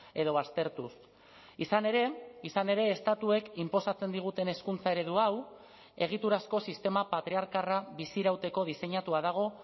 edo baztertuz izan ere izan ere estatuek inposatzen diguten hezkuntza eredu hau egiturazko sistema patriarkarra bizirauteko diseinatua dago